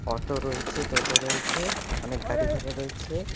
Auto রয়েছে টোটো রয়েছে অনেক গাড়ি ঘোড়া রয়েছে।